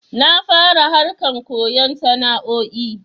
Na fara harkan koyon sana'o'i